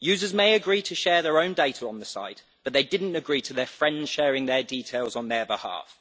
Users may agree to share their own data on the site, but they did not agree to their friends sharing their details on their behalf.